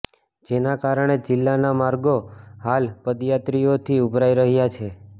જેના કારણે જિલ્લાના માર્ગો હાલ પદયાત્રીઓથી ઉભરાઈ રહ્યા છે